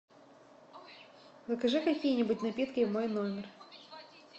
закажи какие нибудь напитки в мой номер